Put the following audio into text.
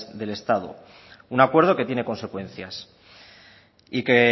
del estado un acuerdo que tiene consecuencias y